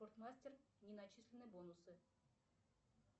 спортмастер не начислены бонусы